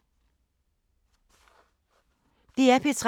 DR P3